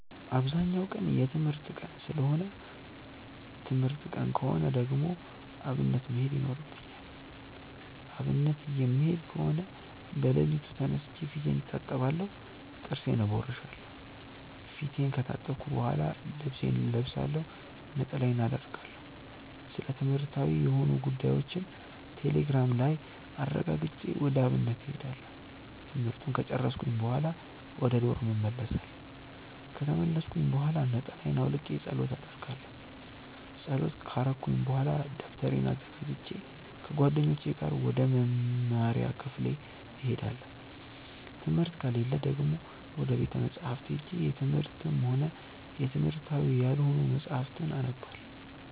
አብዛኛው ቀን የትምህርት ቀን ሰለሆነ ትምህርት ቀን ከሆነ ደግሞ አብነት መሄድ ይኖርብኛል። አብነት የምሄድ ከሆነ በለሊቱ ተነስቼ ፊቴን እታጠባለሁ ጥርሴን እቦርሻለው። ፊቴን ከታጠብኩ በሆላ ልብሴን እለብሳለሁ፣ ነጠላዬን አረጋለሁ፣ ስለትምህርትዊ የሆኑ ጉዳዮችን ቴሌግራም ላይ አረጋግጬ ወደ አብነት እሄዳለሁ። ትምህርቱን ከጨርስኩኝ በሆላ ወደ ዶርም እመልሳለው። ከተመለስኩኝ ብሆላ ነጠላየን አውልቄ ፀሎት አረጋለው። ፀሎት ከረኩኝ በሆላ ደብተሬን አዘጋጅቼ ከጓደኞቼ ጋር ወደ መምሪያ ክፍል እሄዳለው። ትምህርት ከሌለ ደግሞ ወደ ቤተ መፅሀፍት ሄጄ የትምህርትም ሆነ የትምህርታዊ ያልሆኑ መፅሀፍትን አነባለው።